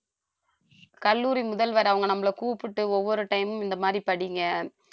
கல்லூரி முதல்வர் அவங்க நம்மள கூப்பிட்டு ஒவ்வொரு time மும் இந்த மாதிரி படிங்க